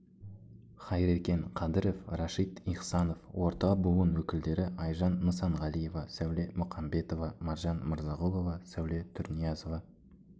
хайрекен қадіров рашид ихсанов орта буын өкілдері айжан нысанғалиева сәуле мұқамбетова маржан мырзағұлова сәуле тұрниязова